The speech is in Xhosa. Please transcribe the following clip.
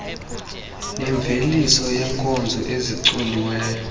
nemveliso yeenkozo ezicoliweyo